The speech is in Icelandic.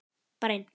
Bara einn.